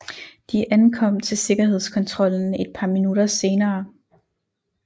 De ankom til sikkerhedskontrollen et par minutter senere